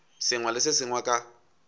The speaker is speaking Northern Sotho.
sengwe le se sengwe ka